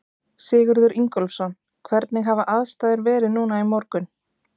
Sigurður Ingólfsson: Hvernig hafa aðstæður verið núna í morgun?